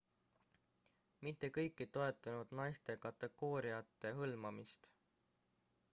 mitte kõik ei toetanud naiste kategooriate hõlmamist